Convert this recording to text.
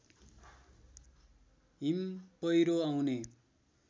हिम पहिरो आउने